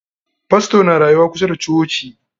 Fastor na rayuwa kusa da coci.